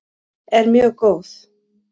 er mjög góð.